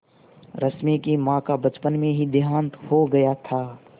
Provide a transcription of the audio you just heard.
रश्मि की माँ का बचपन में ही देहांत हो गया था